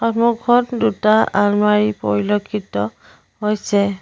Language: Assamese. সন্মুখত দুটা আলমাৰি পৰিলক্ষিত হৈছে।